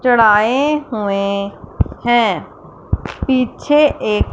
चढ़ाए हुए हैं पीछे एक--